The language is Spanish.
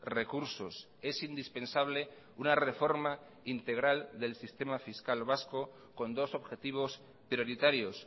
recursos es indispensable una reforma integral del sistema fiscal vasco con dos objetivos prioritarios